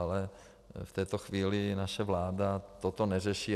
Ale v této chvíli naše vláda toto neřeší.